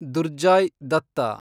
Durjoy Datta